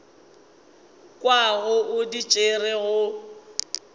kwago o di tšere go